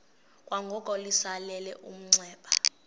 kwangoko litsalele umnxeba